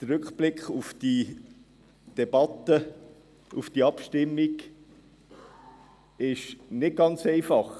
Der Rückblick auf die Debatte, auf die Abstimmung ist nicht ganz einfach.